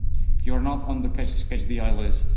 You are not on the catch the eye list.